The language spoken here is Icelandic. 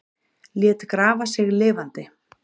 Lét grafa sig lifandi